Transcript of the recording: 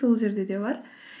сол жерде де бар